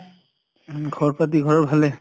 ing খবৰ পাতি ঘৰৰ ভালে?